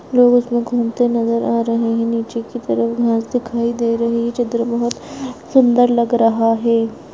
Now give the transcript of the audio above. लोग उसमे घुमते नजर आ रहे है नीचे की तरफ घास दिखाई दे रही है चित्र बहुत सुन्दर लग रहा है।